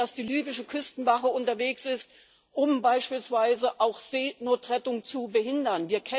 Wir wissen, dass die libysche Küstenwache unterwegs ist, um beispielsweise auch Seenotrettung zu behindern.